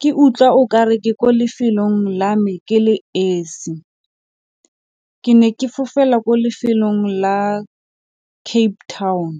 ke utlwa o ka re ke ko lefelong la me ke le esi ke ne ke fofela ko lefelong la Cape Town.